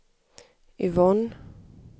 Yvonne